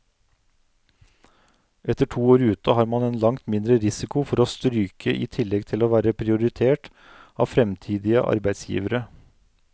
Etter to år ute har man en langt mindre risiko for å stryke i tillegg til å være prioritert av fremtidige arbeidsgivere.